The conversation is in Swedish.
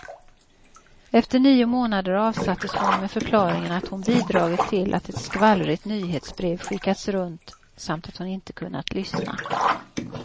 Efter nio månader avsattes hon med förklaringen att hon bidragit till att ett skvallrigt nyhetsbrev skickats runt, samt att hon inte kunnat lyssna.